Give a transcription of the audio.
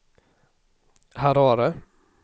Harare